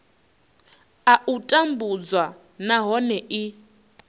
a u tambudzwa nahone i